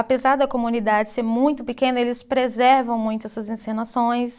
Apesar da comunidade ser muito pequena, eles preservam muito essas encenações.